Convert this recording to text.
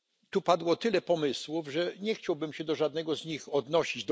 Tu padło tyle pomysłów, że nie chciałbym się do żadnego z nich odnosić.